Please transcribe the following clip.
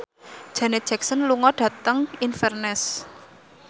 Janet Jackson lunga dhateng Inverness